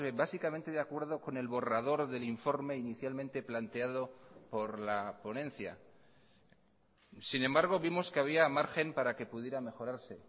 básicamente de acuerdo con el borrador del informe inicialmente planteado por la ponencia sin embargo vimos que había margen para que pudiera mejorarse